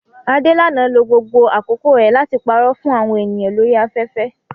Adelana lo gbogbo àkókò rẹ̀ láti parọ́ fún àwọn ènìyàn lórí afẹ́fẹ́